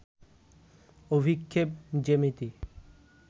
অভিক্ষেপ জ্যামিতি